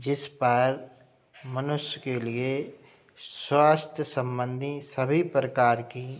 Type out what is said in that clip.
जिस पर मनुष्‍य के लिए स्‍वास्‍थ्‍य संबंधी सभी प्रकार की --